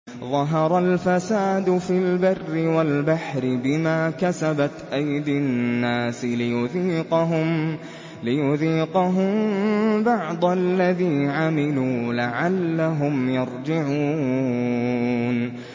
ظَهَرَ الْفَسَادُ فِي الْبَرِّ وَالْبَحْرِ بِمَا كَسَبَتْ أَيْدِي النَّاسِ لِيُذِيقَهُم بَعْضَ الَّذِي عَمِلُوا لَعَلَّهُمْ يَرْجِعُونَ